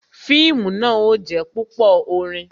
Fíìmù náà ó jé púpò orin